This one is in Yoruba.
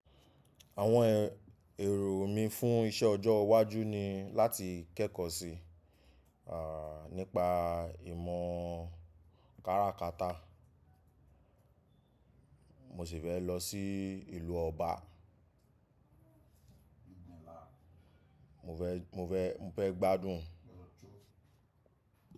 Àwọn èrò mí fún iṣẹ ọjọ́ iwájú ni láti kẹ́kọ̀ọ́ sí, ah, nípa ìmọ̀ káràkata. Mo sì fẹ́ lọ sí ìlú ọba. Mo fẹ́, mo fẹ́, mo fẹ́ gbádùn.